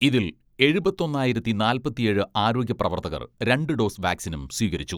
ഇതിൽ എഴുപത്തൊന്നായിരത്തി നാല്പത്തിയേഴ് ആരോഗ്യ പ്രവർത്തകർ രണ്ട് ഡോസ് വാക്സിനും സ്വീകരിച്ചു.